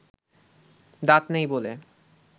দাঁত নেই বলে